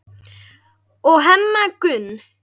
og Hemma Gunn.